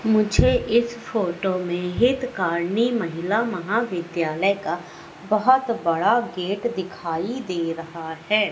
मुझे इस फोटो में हितकार्नी महिला महाविद्यालय का बहोत बड़ा गेट दिखाई दे रहा है।